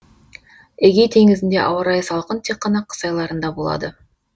эгей теңізінде ауа райы салқын тек қана қыс айларында болады